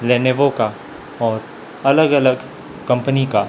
Lenovo का और अलग अलग कंपनी का--